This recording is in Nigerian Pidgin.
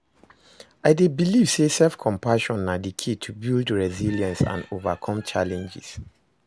i dey believe say self-compassion na di key to build resilience and overcome challenges.